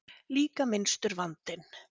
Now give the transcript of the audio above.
Líka minnstur vandinn.